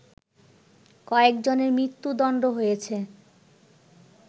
কয়েকজনের মৃত্যুদণ্ড হয়েছে